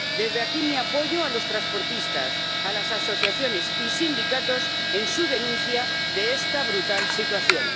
Desde aquí mi apoyo a los transportistas, a las asociaciones y a los sindicatos en su denuncia de esta brutal situación.